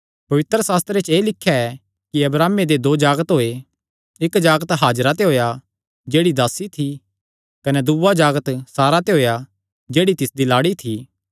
पवित्रशास्त्रे च एह़ लिख्या ऐ कि अब्राहमे दे दो जागत होये इक्क जागत हाजिरा ते होएया जेह्ड़ी दासी थी कने दूआ जागत सारा ते होएया जेह्ड़ी तिसदी लाड़ी थी